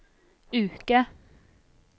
uke